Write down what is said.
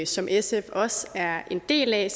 som sf også er en del af